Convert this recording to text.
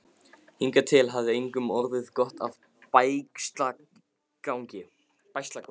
Hingað til hafði engum orðið gott af bægslagangi.